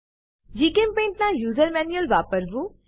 જીચેમ્પેઇન્ટ ના user manual વાપરવું